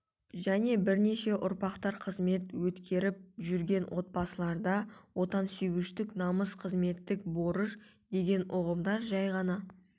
және бірнеше ұрпақтар қызмет өткеріп жүрген отбасыларда отансүйгіштік намыс қызметтік борыш деген ұғымдар жай ғана